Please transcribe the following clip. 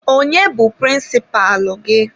Onye bụ prịnsịpalụ gị?